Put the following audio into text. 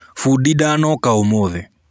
Bundi ndanoka ũmũthĩ.